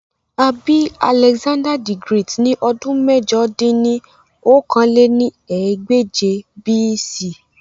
À bi Alexander-the-Great ni ọdun mẹ̀jọ dín ní okòó-lé-ní-ẹgbẹ́je BC.